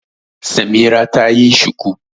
Samira ta yi shuku.